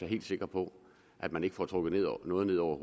helt sikker på at man ikke får trukket noget ned over